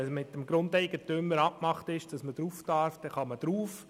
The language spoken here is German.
Wenn mit dem Grundeigentümer abgemacht ist, dass man aufs Land darf, dann darf man drauf.